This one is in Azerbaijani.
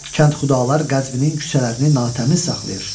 Kənxudalar Qəzvinin küçələrini natəmiz saxlayır.